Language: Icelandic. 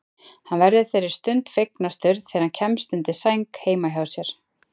Hann verður þeirri stund fegnastur þegar hann kemst undir sæng heima hjá